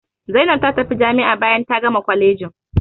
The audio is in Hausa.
Zaina ta tafi jami'a bayan ta gama kwalejin.